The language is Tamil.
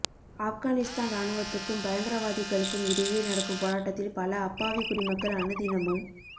ஆப்கானிஸ்தான் ராணுவத்துக்கும் பயங்கரவாதிகளுக்கும் இடையே நடக்கும் போராட்டத்தில் பல அப்பாவி குடிமக்கள் அனுதினமும்